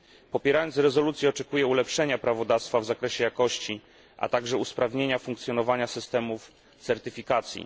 Popierając rezolucję oczekuję ulepszenia prawodawstwa w zakresie jakości, a także usprawnienia funkcjonowania systemów certyfikacji.